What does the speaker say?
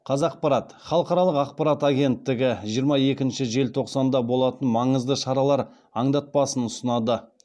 қазақпарат халықаралық ақпарат агенттігі жиырма екінші желтоқсанда болатын маңызды шаралар аңдатпасын ұсынады